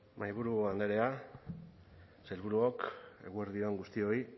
mahaiburu andrea sailburuok eguerdi on guztioi